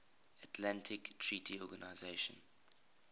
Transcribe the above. atlantic treaty organisation